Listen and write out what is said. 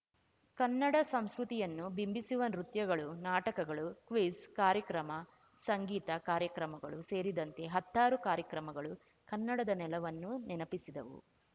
ಕನ್ನಡ ಸಂಸ್ಕೃತಿಯನ್ನು ಬಿಂಬಿಸುವ ನೃತ್ಯಗಳು ನಾಟಕಗಳು ಕ್ವಿಜ್ ಕಾರ್ಯಕ್ರಮ ಸಂಗೀತ ಕಾರ್ಯಕ್ರಮಗಳು ಸೇರಿದಂತೆ ಹತ್ತಾರು ಕಾರ್ಯಕ್ರಮಗಳು ಕನ್ನಡದ ನೆಲವನ್ನು ನೆನಪಿಸಿದವು